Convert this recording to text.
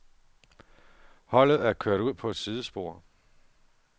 Holdet er kørt ud på et sidespor.